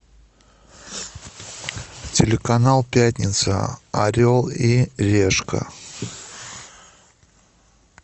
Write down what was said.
телеканал пятница орел и решка